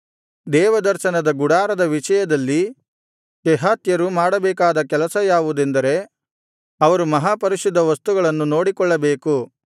ದೇವದರ್ಶನ ಗುಡಾರದ ವಿಷಯದಲ್ಲಿ ಕೆಹಾತ್ಯರು ಮಾಡಬೇಕಾದ ಕೆಲಸ ಯಾವುದೆಂದರೆ ಅವರು ಮಹಾಪರಿಶುದ್ಧ ವಸ್ತುಗಳನ್ನು ನೋಡಿಕೊಳ್ಳಬೇಕು